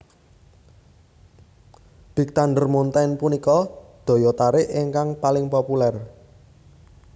Big Thunder Mountain punika daya tarik ingkang paling populer